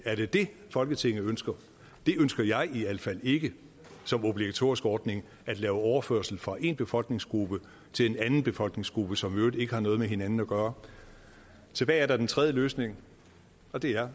er det det folketinget ønsker det ønsker jeg i al fald ikke som obligatorisk ordning at lave overførsel fra én befolkningsgruppe til en anden befolkningsgruppe som i øvrigt ikke har noget med hinanden at gøre tilbage er der den tredje løsning og det er